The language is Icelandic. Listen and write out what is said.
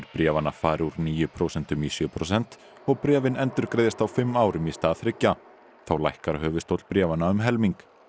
bréfanna fari úr níu prósentum í sjö prósent og bréfin endurgreiðist á fimm árum í stað þriggja þá lækkar höfuðstóll bréfanna um helming